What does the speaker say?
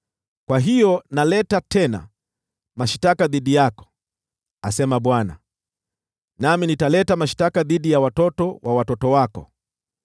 “Kwa hiyo naleta tena mashtaka dhidi yako,” asema Bwana . “Nami nitaleta mashtaka dhidi ya watoto wa watoto wako.